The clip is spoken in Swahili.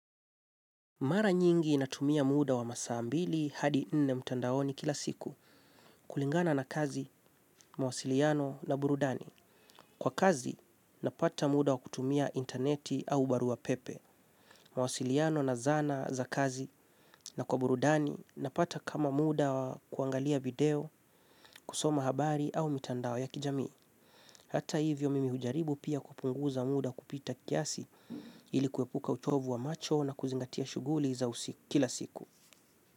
Mara nyingi natumia muda wa masaa mbili hadi nne, mtandaoni kila siku kulingana na kazi, mwasiliano na burudani. Kwa kazi napata muda wa kutumia interneti au barua pepe. Mawasiliano na zana za kazi na kwa burudani napata kama muda wa kuangalia video, kusoma habari au mtandao ya kijamii. Hata hivyo mimi hujaribu pia kupunguza muda kupita kiasi. Ilikuwepuka utovu wa macho na kuzingatia shuguli za kila siku.